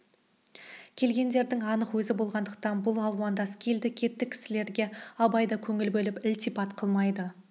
келгіндердің анық өзі болғандықтан бұл алуандас келді-кетті кісілерге абай да көңіл бөліп ілтипат қылмайды